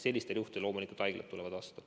Sellistel juhtudel loomulikult haiglad tulevad vastu.